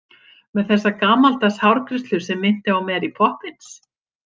Með þessa gamaldags hárgreiðslu sem minnti á Mary Poppins.